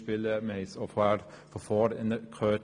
Wir haben es bereits von Vorrednern gehört.